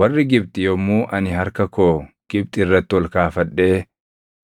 Warri Gibxi yommuu ani harka koo Gibxi irratti ol kaafadhee